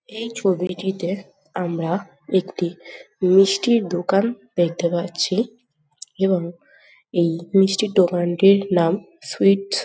এই ছবিটিতে আমরা একটি মিষ্টির দোকান দেখতে পাচ্ছি এবং এই মিষ্টির দোকানটির নাম সুইটস ।